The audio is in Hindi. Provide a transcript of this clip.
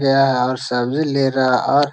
गया है और सब्जी ले रहा और --